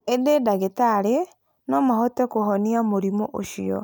Ĩndĩ ndagĩtarĩ no mahote kũhonia mũrimũ ũcio.